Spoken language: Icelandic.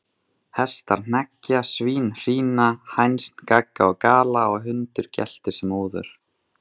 Hestar hneggja, svín hrína, hænsn gagga og gala, og hundur geltir sem óður.